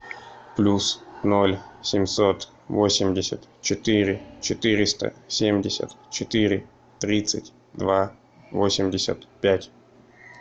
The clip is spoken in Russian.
плюс ноль семьсот восемьдесят четыре четыреста семьдесят четыре тридцать два восемьдесят пять